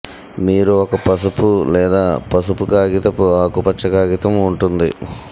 మీరు ఒక పసుపు లేదా పసుపు కాగితపు ఆకుపచ్చ కాగితం ఉంటుంది